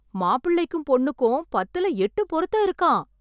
மாப்பிள்ளைக்கும் பொண்ணுக்கும் பத்துல எட்டு பொருத்தம் இருக்காம்.